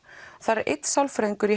er einn sálfræðingur